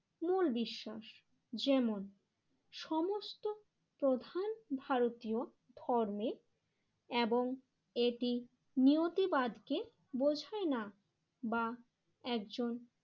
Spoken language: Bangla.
মূল বিশ্বাস যেমন সমস্ত প্রধান ভারতীয় ধর্মে এবং এটি নিয়তিবাদ কে বোঝায় না বা একজন